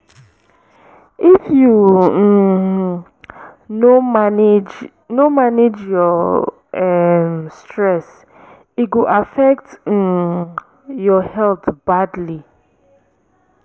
if you um no manage no manage your um stress e go affect um your health badly.